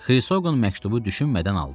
Xrisoqan məktubu düşünmədən aldı.